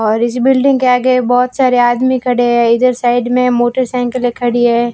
और इस बिल्डिंग के आगे बहुत सारे आदमी खड़े है इधर साइड मे मोटरसाइकिले खड़ी है।